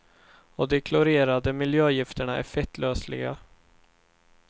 Och de klorerade miljögifterna är fettlösliga.